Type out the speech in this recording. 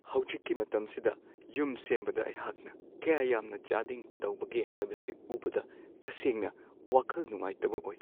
ꯍꯧꯖꯤꯛꯀꯤ ꯃꯇꯝꯁꯤꯗ ꯌꯨꯝ ꯁꯦꯝꯕꯗ ꯑꯩꯍꯥꯛꯅ ꯀꯌꯥ ꯌꯥꯝꯅ ꯆꯥꯗꯤꯡ ꯇꯧꯕꯒꯦ ꯍꯥꯏꯕꯁꯤ ꯎꯕꯗ ꯇꯁꯦꯡꯅ ꯋꯥꯈꯜ ꯅꯨꯡꯉꯥꯏꯇꯕ ꯑꯣꯏ ꯫